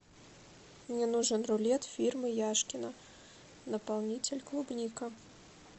мне нужен рулет фирмы яшкино наполнитель клубника